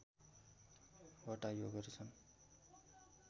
वटा योगहरु छन्